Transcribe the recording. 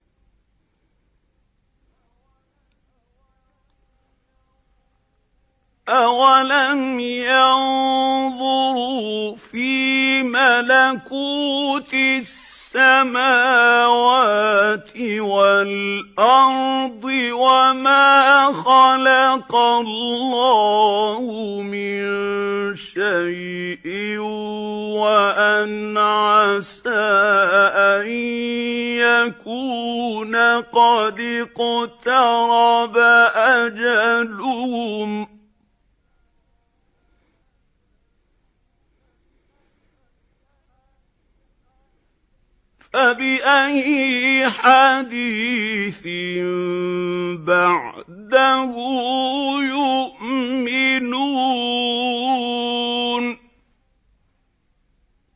أَوَلَمْ يَنظُرُوا فِي مَلَكُوتِ السَّمَاوَاتِ وَالْأَرْضِ وَمَا خَلَقَ اللَّهُ مِن شَيْءٍ وَأَنْ عَسَىٰ أَن يَكُونَ قَدِ اقْتَرَبَ أَجَلُهُمْ ۖ فَبِأَيِّ حَدِيثٍ بَعْدَهُ يُؤْمِنُونَ